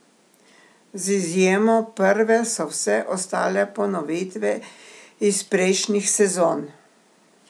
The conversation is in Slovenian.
Z izjemo prve so vse ostale ponovitve iz prejšnjih sezon.